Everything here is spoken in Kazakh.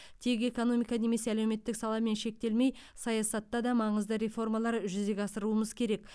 тек экономика немесе әлеуметтік саламен шектелмей саясатта да маңызды реформалар жүзеге асыруымыз керек